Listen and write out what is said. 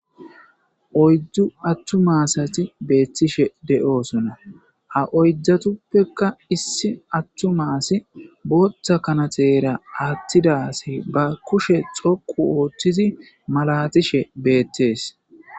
oydu attuma asati beettishe de7oosonna ha oydatuppekka issi attuma asi bootta kanatera aattidasi ba kushe dhoqu ooththizi malatishe beettees.